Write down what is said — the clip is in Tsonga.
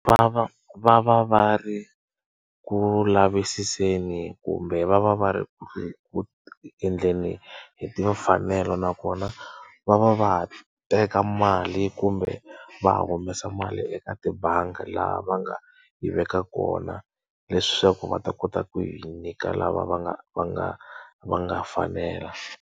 Va va va va va ri ku lavisiseni kumbe va va va ri ku ku endleni hi timfanelo nakona, va va va teka mali kumbe va humesa mali eka tibangi laha va nga yi veka kona. Leswaku va ta kota ku yi nyika lava va nga va nga va nga fanela.